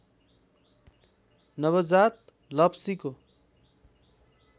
नवजात लप्सीको